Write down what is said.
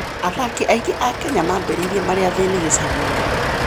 Athaki aingĩ a Kenya maambĩrĩirie marĩ athĩni gĩcagi-inĩ.